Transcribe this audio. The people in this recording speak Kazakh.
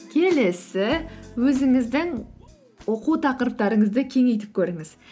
келесі өзіңіздің оқу тақырыптарыңызды кеңейтіп көріңіз